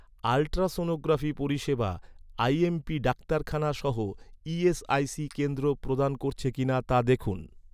Ultrasonography পরিষেবা, IMP ডাক্তারখানা সহ ই.এস.আই.সি কেন্দ্র প্রদান করছে কি না, তা দেখুন।